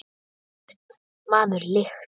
Lyktin, maður, lyktin!